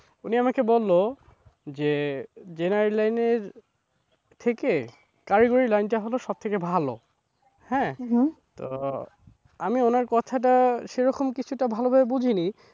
উনি আমাকে বললো যে general line এর থেকে কারিগরি line টা হল সব থেকে ভালো হ্যাঁ তো আমি ওনার কথা টা সেরখম কিছুটা ভালোভাবে বুঝিনি